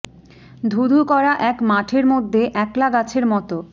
ধু ধু করা এক মাঠের মধ্যে একলা গাছের মতো